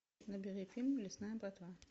набери фильм лесная братва